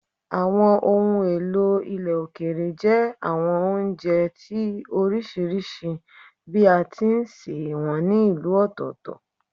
Àwọn ohun èlò ilẹ̀ òkèèrè jẹ́ àwọn oúnjẹ tí ó oríṣiríṣi bí a ti ń sè wọ́n ní ìlú ọ̀tọ̀ọ̀tọ̀